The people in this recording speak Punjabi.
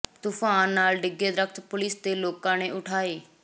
ਤੂਫਾਨ ਨਾਲ ਡਿੱਗੇ ਦਰੱਖ਼ਤ ਪੁਲਿਸ ਤੇ ਲੋਕਾਂ ਨੇ ਉਠਾਏ